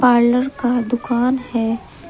Parlour का दुकान है।